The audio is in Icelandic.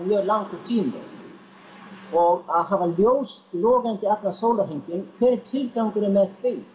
mjög langur tími og að hafa ljós logandi allan sólarhringinn hver er tilgangurinn með því